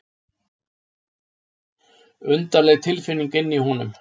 Undarleg tilfinning inni í honum.